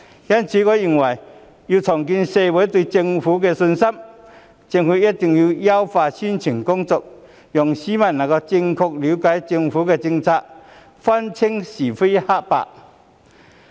因此，要重建社會對政府的信心，我認為政府一定要優化宣傳工作，讓市民能夠正確了解政府的政策，分清是非黑白。